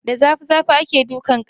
Da zafi zafi akan daki karfe.